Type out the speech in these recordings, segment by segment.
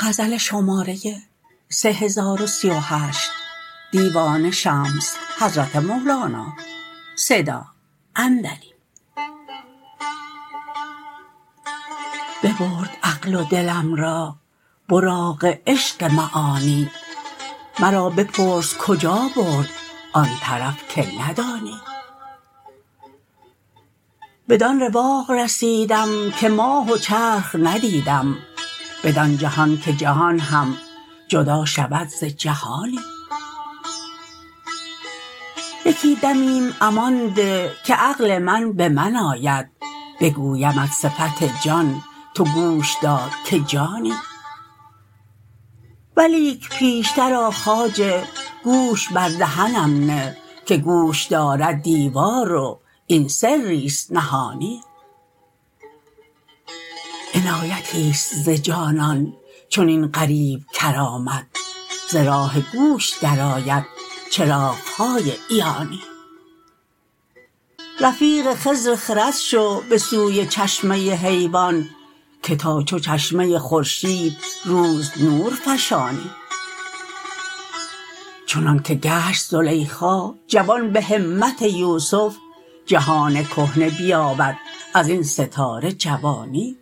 ببرد عقل و دلم را براق عشق معانی مرا بپرس کجا برد آن طرف که ندانی بدان رواق رسیدم که ماه و چرخ ندیدم بدان جهان که جهان هم جدا شود ز جهانی یکی دمیم امان ده که عقل من به من آید بگویمت صفت جان تو گوش دار که جانی ولیک پیشتر آ خواجه گوش بر دهنم ده که گوش دارد دیوار و این سریست نهانی عنایتیست ز جانان چنین غریب کرامت ز راه گوش درآید چراغ های عیانی رفیق خضر خرد شو به سوی چشمه حیوان که تا چو چشمه خورشید روز نور فشانی چنانک گشت زلیخا جوان به همت یوسف جهان کهنه بیابد از این ستاره جوانی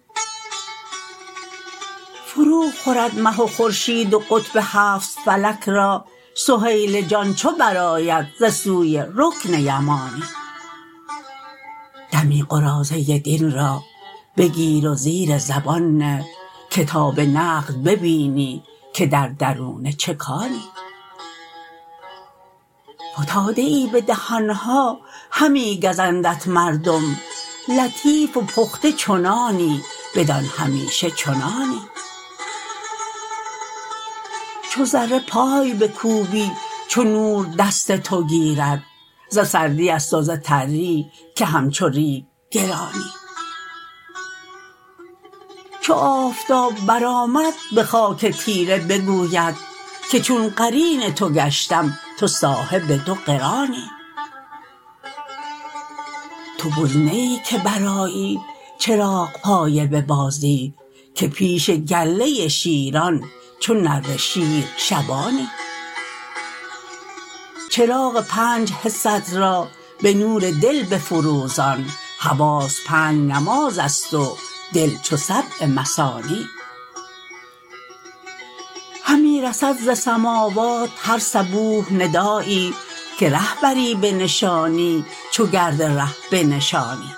فروخورد مه و خورشید و قطب هفت فلک را سهیل جان چو برآید ز سوی رکن یمانی دمی قراضه دین را بگیر و زیر زبان نه که تا به نقد ببینی که در درونه چه کانی فتاده ای به دهان ها همی گزندت مردم لطیف و پخته چو نانی بدان همیشه چنانی چو ذره پای بکوبی چو نور دست تو گیرد ز سردیست و ز تری که همچو ریگ گرانی چو آفتاب برآمد به خاک تیره بگوید که چون قرین تو گشتم تو صاحب دو قرانی تو بز نه ای که برآیی چراغپایه به بازی که پیش گله شیران چو نره شیر شبانی چراغ پنج حست را به نور دل بفروزان حواس پنج نمازست و دل چو سبع مثانی همی رسد ز سموات هر صبوح ندایی که ره بری به نشانی چو گرد ره بنشانی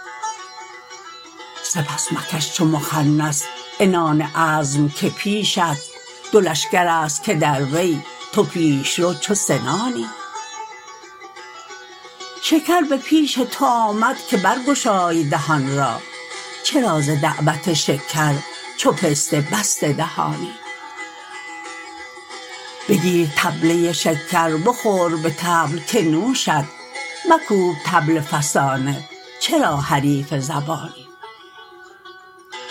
سپس مکش چو مخنث عنان عزم که پیشت دو لشکرست که در وی تو پیش رو چو سنانی شکر به پیش تو آمد که برگشای دهان را چرا ز دعوت شکر چو پسته بسته دهانی بگیر طبله شکر بخور به طبل که نوشت مکوب طبل فسانه چرا حریف زبانی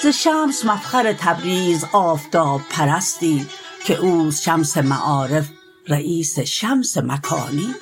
ز شمس مفخر تبریز آفتاب پرستی که اوست شمس معارف رییس شمس مکانی